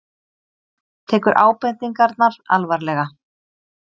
Tekur ábendingarnar alvarlega